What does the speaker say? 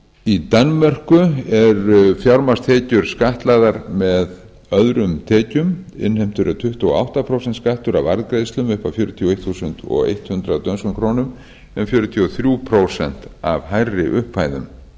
í danmörku eru fjármagnstekjur skattlagðar með öðrum tekjum innheimtur er tuttugu og átta prósenta skattur af arðgreiðslum upp að fjörutíu og eitt þúsund hundrað dönskum krónum en fjörutíu og þrjú prósent af hærri upphæðum